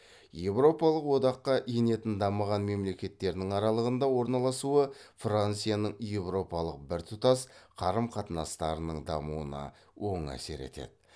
еуропалық одаққа енетін дамыған мемлекеттердің аралығында орналасуы францияның еуропалық біртұтас қарым қатынастарының дамуына оң әсер етеді